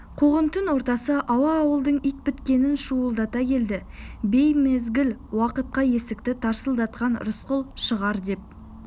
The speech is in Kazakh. қуғын түн ортасы ауа ауылдың ит біткенін шуылдата келді беймезгіл уақытта есікті тарсылдатқан рысқұл шығар деп